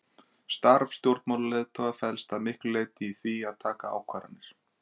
Starf stjórnmálaleiðtoga felst að miklu leyti í því að taka ákvarðanir.